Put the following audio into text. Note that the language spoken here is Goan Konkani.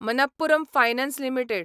Manappuram Finance limited